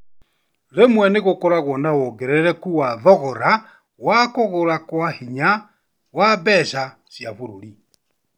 Rĩmwe nĩgũkoragwo na wongerereku wa thogora na kũgwa kwa hinya wa mbeca cia bũrũri